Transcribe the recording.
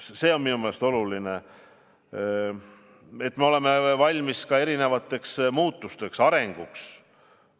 See on minu meelest oluline, et me oleme valmis ka erinevateks muutusteks, arenguks.